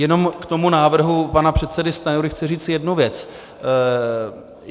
Jenom k tomu návrhu pana předsedy Stanjury chci říci jednu věc.